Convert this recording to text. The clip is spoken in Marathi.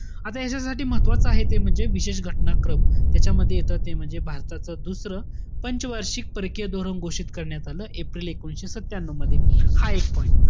आता ह्याच्यासाठी महत्वाचं आहे, ते म्हणजे विशेष घटना क्रम. यांच्यामध्ये येतं, ते म्हणजे भारताचं, दुसरं पंच वार्षिक परकीय धोरण घोषित करण्यात आलं, एप्रिल एकोणविशे सत्यान्यू मध्ये. हा एक point.